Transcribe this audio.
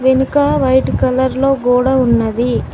వెనుకా white కలర్లో గోడ ఉన్నది.